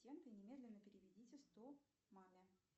немедленно переведите сто маме